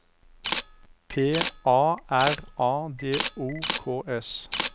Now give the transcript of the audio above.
P A R A D O K S